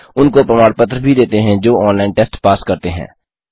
उनको प्रमाण पत्र भी देते हैं जो ऑनलाइन टेस्ट पास करते हैं